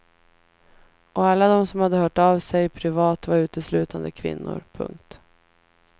Och alla de som hade hört av sig privat var uteslutande kvinnor. punkt